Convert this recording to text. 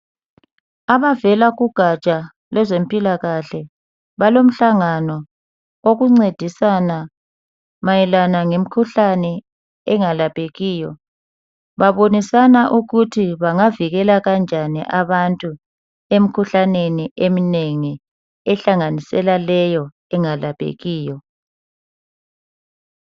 Abavela kugatsha lwezempilakahle ,balomhlangano wokuncedisana mayelana ngemikhuhlane engalaphekiyo .Babonisana ukuthi bangavikela kanjani abantu , emkhuhlaneni eminengi ehlanganisela leyo engalaphekiyo.